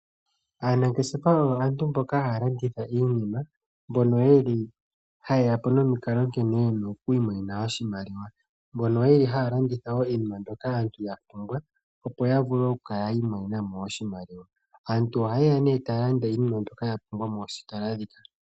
Aanangeshefa oyo aantu mboka haya landitha iinima mbono ye li haye ya po nomikalo nkene ye na okwiimonena oshimaliwa. Mbono ye li wo haya landitha iinima mbyoka aantu ya pumbwa, opo ya vule okukala yi imonena mo oshimaliwa. Aantu ohaye ya nee taya landa iinima mbyoka ya pumbwa moositola ndhika.